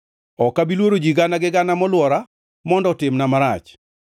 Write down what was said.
Ok abi luoro ji gana gi gana molwora mondo otimna marach.